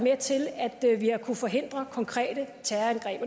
vi har kunnet forhindre konkrete terrorangreb